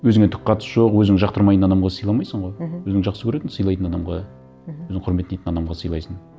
өзіңе түк қатысы жоқ өзің жақтырмайтын адамға сыйламайсың ғой мхм өзің жақсы көретін сыйлайтын адамға мхм өзің құрметтейтін адамға сыйлайсың